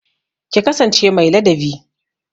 Ki kasance mai ladabi